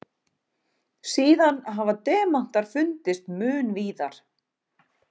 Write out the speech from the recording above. Síðan hafa demantar fundist mun víðar.